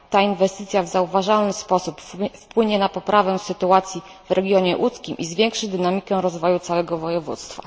Ta inwestycja w zauważalny sposób wpłynie na poprawę sytuacji w regionie łódzkim i zwiększy dynamikę rozwoju całego województwa.